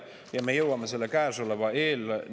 Me veel jõuame käesoleva eelnõu juurde.